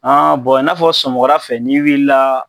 An i n'a fɔ sɔgɔmada fɛ n'i wilila,